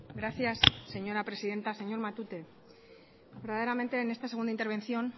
gracias señora presidenta señor matute verdaderamente en esta segunda intervención